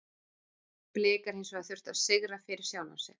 Blikar hins vegar þurfa sigur fyrir sjálfa sig.